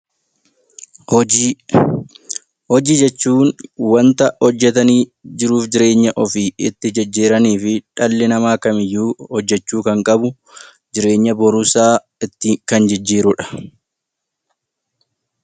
Hojii; hojii jechuun wanta hojjatanii jiruuf jireenya ofii itti jijjiirraaniifi dhalli namaa kamiyyuu hojjachuu kan qabu jireenya boruusaa itti kan jijjiirudha.